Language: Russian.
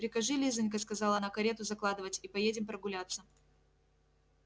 прикажи лизанька сказала она карету закладывать и поедем прогуляться